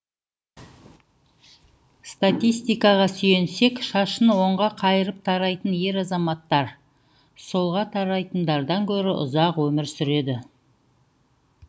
статистикаға сүйенсек шашын оңға қайырып тарайтын ер азаматтар солға тарайтындардан гөрі ұзақ өмір сүреді